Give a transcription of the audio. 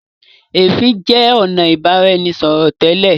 ẹfin jẹ ọnà ibaraẹnisọrọ tẹ́lẹ̀.